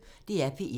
DR P1